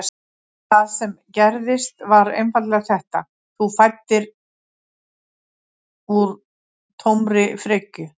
Það sem gerðist var einfaldlega þetta: Þú fæddir úr tómri frekju.